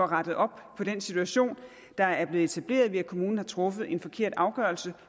rettet op på den situation der er blevet etableret ved at kommunen har truffet en forkert afgørelse